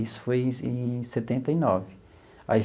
Isso foi em em setenta e nove aí.